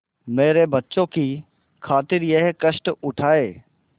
मेरे बच्चों की खातिर यह कष्ट उठायें